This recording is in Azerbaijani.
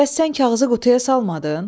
Bəs sən kağızı qutuya salmadın?